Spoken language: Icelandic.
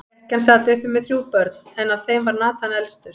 Ekkjan sat uppi með þrjú börn, en af þeim var Nathan elstur.